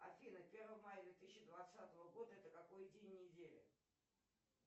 афина первое мая две тысячи двадцатого года это какой день недели